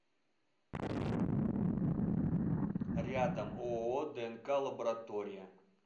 рядом ооо днк лаборатория